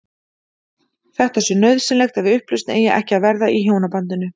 Þetta sé nauðsynlegt ef upplausn eigi ekki að verða í hjónabandinu.